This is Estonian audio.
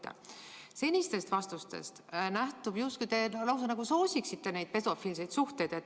Teie senistest vastustest nähtub, et te justkui lausa soosiksite pedofiilseid suhteid.